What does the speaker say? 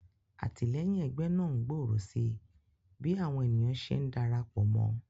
Àtìléyìn egbé náà ngbòrò sí bí àwon ènìyàn se ndarapò mó